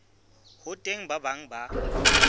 ho teng ba bang ba